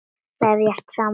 Vefjast saman.